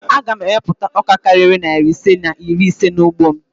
Aga m ewupụta ọka karịrị narị ise na iri ise n'ugbo m